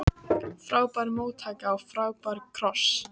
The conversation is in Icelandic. Frábær móttaka og frábær kross.